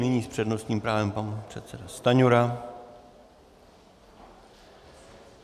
Nyní s přednostním právem pan předseda Stanjura.